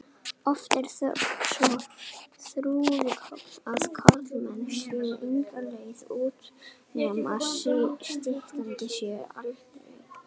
Oft er þöggunin svo þrúgandi að karlmenn sjá enga leið út nema stytta sér aldur.